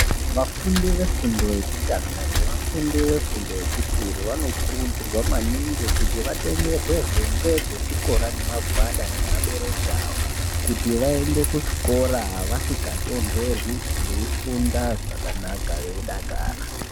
Vafundi vefundo yekutanga nevafundi vefumdo yechipiri vanokurudzirwa maningi kuti vatengerwe hembe dzechikora nemagwada ngeabereki vavo kuti vaende kuzvikora vasingatondorwi veifunda zvakanaka veidakara.